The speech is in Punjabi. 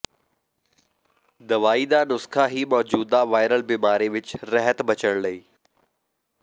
ਦਵਾਈ ਦਾ ਨੁਸਖ਼ਾ ਹੀ ਮੌਜੂਦਾ ਵਾਇਰਲ ਬਿਮਾਰੀ ਵਿਚ ਰਹਿਤ ਬਚਣ ਲਈ